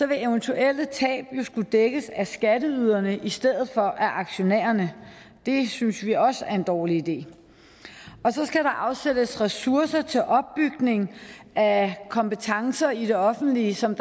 vil eventuelle tab jo skulle dækkes af skatteyderne i stedet for af aktionærerne det synes vi også er en dårlig idé og så skal der afsættes ressourcer til opbygning af kompetencer i det offentlige som